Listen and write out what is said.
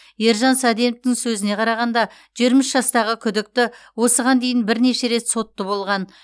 ержан саденовтің сөзіне қарағанда жиырма үш жастағы күдікті осыған дейін бірнеше рет сотты болған